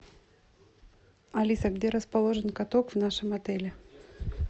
алиса где расположен каток в нашем отеле